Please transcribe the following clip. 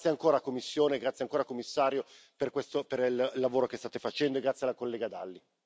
Grazie ancora Commissione, grazie ancora, signor Commissario, per il lavoro che state facendo, e grazie alla collega Dalli.